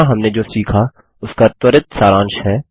यहाँ हमने जो सीखा उसका त्वरित सांराश है